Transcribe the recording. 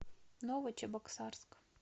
новочебоксарск